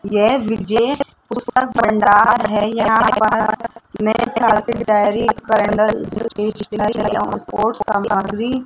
यह विजय पुस्तक भंडार है यहां पर नए साल की डायरी कैलेंडर और सपोर्ट्स का सामान भी --